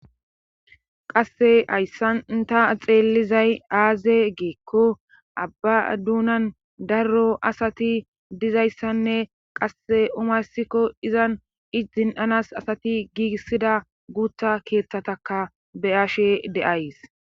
Qasse hayssanta xeellizay aaze geekko abba duunan darro asati dizayssanne qasse umayssikko izan i zin7anas asati giigissida guutha keeththataka beyashe de7ays.